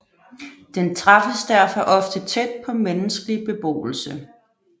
Den træffes derfor ofte tæt på menneskelig beboelse